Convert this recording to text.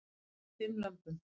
Bar fimm lömbum